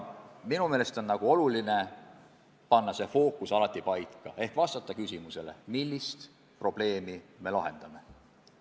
Minu meelest on oluline panna fookus paika ehk vastata küsimusele, mis probleemi me lahendame.